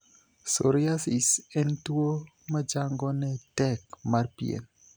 Psoriasis'en tuo machango ne tek mar pien.